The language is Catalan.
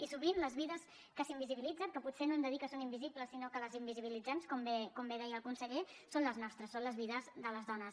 i sovint les vides que s’invisibilitzen que potser no hem de dir que són invisibles sinó que les invisibilitzem com bé deia el conseller són les nostres són les vides de les dones